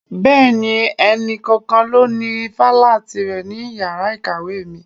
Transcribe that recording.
Bẹẹni, ẹni kọ̀ọ̀kan ló ní ifala tire ní iyàrá kàwé mi.